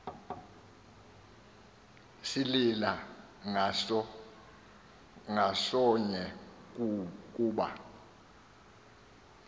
silila ngasonye kuba